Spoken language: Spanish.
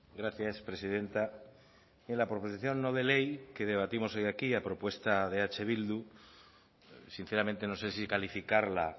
gracias presidenta en la proposición no de ley que debatimos hoy aquí a propuesta de eh bildu sinceramente no sé si calificarla